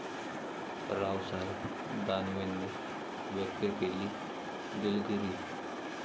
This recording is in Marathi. रावसाहेब दानवेंनी व्यक्त केली दिलगिरी